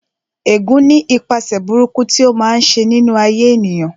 Ẹ̀gún ní ipaṣẹ̀ burúkú tí ó máa ń ṣe nínú ayé ènìyàn